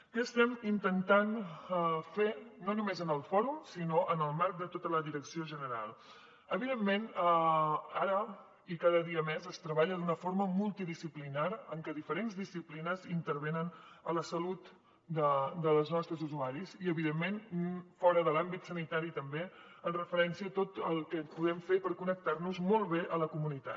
què estem intentant fer no només en el fòrum sinó en el marc de tota la direcció general evidentment ara i cada dia més es treballa d’una forma multidisciplinària en què diferents disciplines intervenen a la salut dels nostres usuaris i evidentment fora de l’àmbit sanitari també en referència a tot el que podem fer per connectar nos molt bé a la comunitat